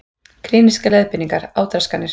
Klínískar leiðbeiningar, átraskanir.